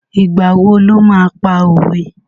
Ìgbà wo lo máa pa òwe?